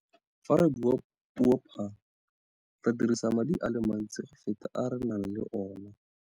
Fa re bua puo phaa, re dirisa madi a le mantsi go feta a re nang le ona.